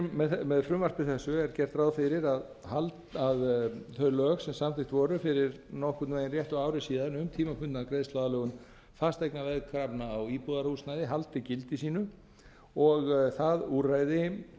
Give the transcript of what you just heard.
um með frumvarpi þessu er gert ráð fyrir að þau lög sem samþykkt voru fyrir nokkurn veginn réttu ári síðan um tímabundna greiðsluaðlögun fasteignaveðkrafna á íbúðarhúsnæði haldi gildi sínu og það úrræði